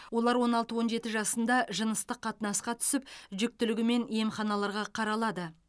олар он алты он жеті жасында жыныстық қатынасқа түсіп жүкітілігімен емханаларға қаралады